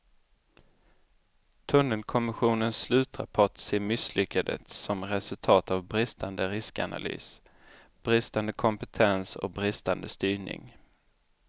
Tunnelkommissionens slutrapport ser misslyckandet som resultat av bristande riskanalys, bristande kompetens och bristande styrning.